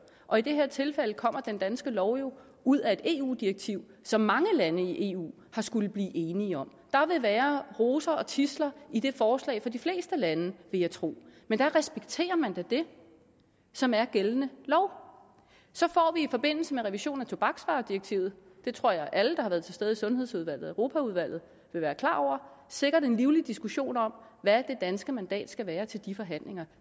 og i det her tilfælde kommer den danske lov jo ud af et eu direktiv som mange lande i eu har skullet blive enige om der vil være roser og tidsler i det forslag for de fleste lande vil jeg tro men der respekterer man da det som er gældende lov så får vi i forbindelse med revisionen af tobaksvaredirektivet det tror jeg at alle der har været til stede i sundhedsudvalget og europaudvalget vil være klar over sikkert en livlig diskussion om hvad det danske mandat skal være til de forhandlinger